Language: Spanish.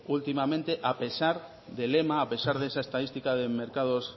últimamente a pesar del lema a pesar de la estadística de mercados